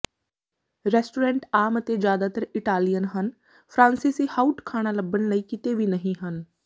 restaurant ਆਮ ਅਤੇ ਜਿਆਦਾਤਰ ਇਟਾਲੀਅਨ ਹਨ ਫਰਾਂਸੀਸੀ ਹਉਟ ਖਾਣਾ ਲੱਭਣ ਲਈ ਕਿਤੇ ਵੀ ਨਹੀਂ ਹੈ